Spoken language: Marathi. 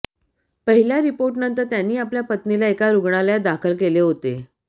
पहिल्या रिपोर्टनंतर त्यांनी आपल्या पत्नीला एका रुग्णालयात दाखल केले होते